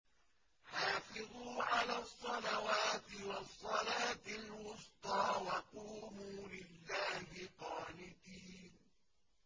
حَافِظُوا عَلَى الصَّلَوَاتِ وَالصَّلَاةِ الْوُسْطَىٰ وَقُومُوا لِلَّهِ قَانِتِينَ